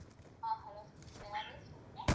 ஆஹ் hello யாரு சொல்லுங்க?